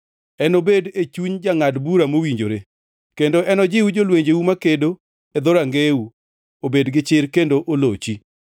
Enobed e chuny jangʼad bura mowinjore kendo enojiw jolwenjeu makedo, e dhorangeyeu obed gichir kendo olochi.